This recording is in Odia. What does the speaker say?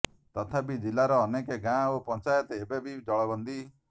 ତଥାପି ଜିଲ୍ଲାର ଅନେକ ଗାଁ ଓ ପଞ୍ଚାୟତ ଏବେ ବି ଜଳବନ୍ଦୀ